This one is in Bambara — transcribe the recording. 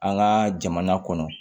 An ka jamana kɔnɔ